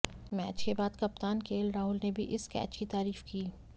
match के बाद कप्तान केएल राहुल ने भी इस कैच की तारीफ की